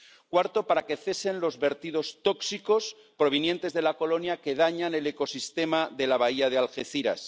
cuarto, para que cesen los vertidos tóxicos provenientes de la colonia que dañan el ecosistema de la bahía de Algeciras